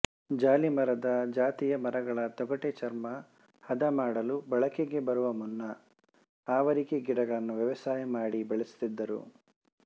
ಜಾಲಿಮರದ ಜಾತಿಯ ಮರಗಳ ತೊಗಟೆ ಚರ್ಮ ಹದಮಾಡಲು ಬಳಕೆಗೆ ಬರುವ ಮುನ್ನ ಆವರಿಕೆ ಗಿಡಗಳನ್ನು ವ್ಯವಸಾಯಮಾಡಿ ಬೆಳೆಸುತ್ತಿದ್ದರು